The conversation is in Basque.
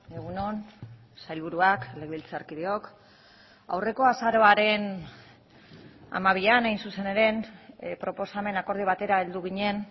egun on sailburuak legebiltzarkideok aurreko azaroaren hamabian hain zuzen ere proposamen akordio batera heldu ginen